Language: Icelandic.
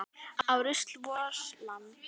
Ó rusl vors lands.